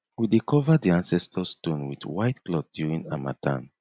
we dey cover di ancestor stone with white cloth during harmattan